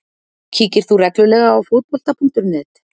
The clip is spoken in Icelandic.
Kíkir þú reglulega á Fótbolta.net?